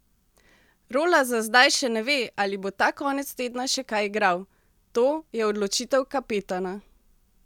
Rola za zdaj še ne ve, ali bo ta konec tedna še kaj igral: "To je odločitev kapetana.